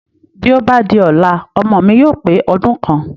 Bí ó bá di ọ̀la, ọmọ mi yóò pe ọdún kan